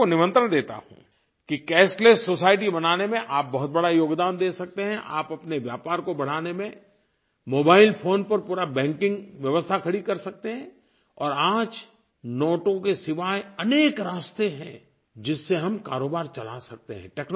मैं आप को निमंत्रण देता हूँ कि कैशलेस सोसाइटी बनाने में आप बहुत बड़ा योगदान दे सकते हैं आप अपने व्यापार को बढ़ाने में मोबाइल फोन पर पूरी बैंकिंग व्यवस्था खड़ी कर सकते हैं और आज नोटों के सिवाय अनेक रास्ते हैं जिससे हम कारोबार चला सकते हैं